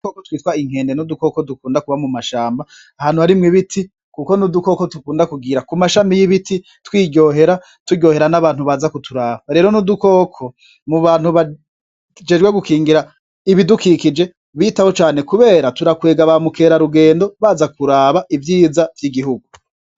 Udukoko twitwa inkende n'udukoko dukunda kuba mu mashamba, ahantu harimwo ibiti, kuko n'udukoko dukunda kugira ku mashami y'ibiti, twiryohera, turyohera n'abantu baza kuturaba, rero n'udukoko mu bantu bajejwe gukingira ibidukikije bitaho cane, kubera kirakwega ba mukerarugendo baza kuraba ivyiza vy'igihugu.